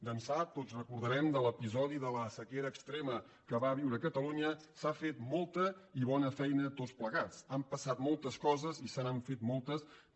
d’ençà tots ho recordarem de l’episodi de la sequera extrema que va viure catalunya s’ha fet molta i bona feina tots plegats han passat moltes coses i se n’han fet moltes que